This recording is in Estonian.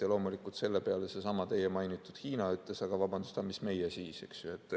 Ja loomulikult, selle peale seesama teie mainitud Hiina ütles: aga vabandust, miks meie siis.